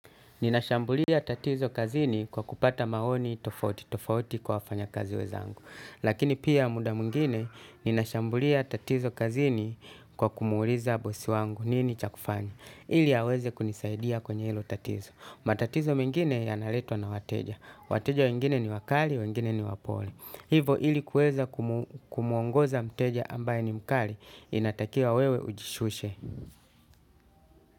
Ninashambulia tatizo kazini kwa kupata maoni tofauti tofauti kwa wafanyakazi wenzangu. Lakini pia muda mwingine, ninashambulia tatizo kazini kwa kumuuliza bosi wangu nini cha kufanya. Ili aweze kunisaidia kwenye hilo tatizo. Matatizo mengine yanaletwa na wateja. Wateja wengine ni wakali, wengine ni wapole. Hivo ili kueza kumuongoza mteja ambaye ni mkali, inatakia wewe ujishushe.